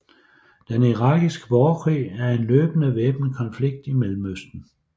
Den irakiske borgerkrig er en løbende væbnet konflikt i Mellemøsten